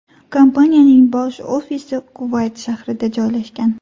Kompaniyaning bosh ofisi Kuvayt shahrida joylashgan.